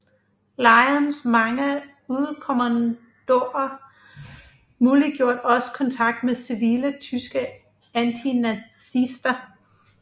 Lejrens mange udekommandoer muliggjorde også kontakt med civile tyske antinazister